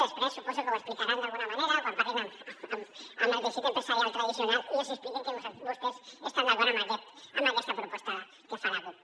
després suposo que ho explicaran d’alguna manera quan parlin amb el teixit empresarial tradicional i els hi expliquin que vostès estan d’acord amb aquesta proposta que fa la cup